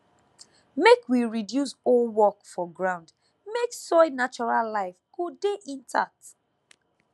make we reduce hoe work for ground mek soil natural life go dey intact